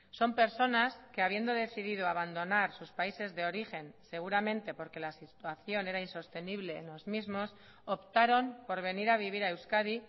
son personas que habiendo decidido abandonar sus países de origen seguramente porque la situación era insostenible en los mismos optaron por venir a vivir a euskadi